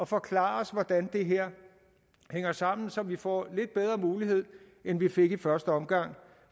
forklare os hvordan det her hænger sammen så vi får lidt bedre mulighed end vi fik i første omgang